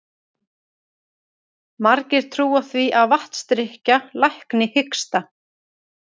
Margir trúa því að vatnsdrykkja lækni hiksta.